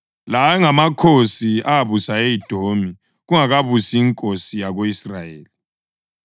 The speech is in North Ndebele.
La ayengamakhosi abusa e-Edomi kungakabusi inkosi yako-Israyeli: